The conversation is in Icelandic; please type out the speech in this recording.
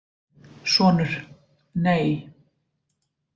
Sonur: Nei.